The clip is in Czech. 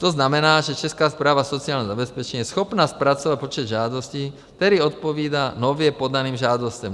To znamená, že Česká správa sociálního zabezpečení je schopna zpracovat počet žádostí, který odpovídá nově podaným žádostem.